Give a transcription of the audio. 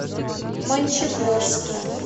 мончегорске